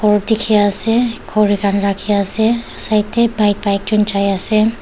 dikhiase khuri khan rakhiase side tae bike taijon jaiase.